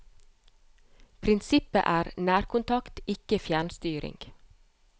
Prinsippet er nærkontakt, ikke fjernstyring.